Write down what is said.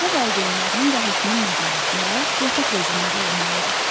Evdə valideynlərinin və həkimin nəzarətində yataq rejimində olmalıdır.